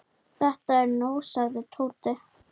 Þetta er nóg sagði Tóti.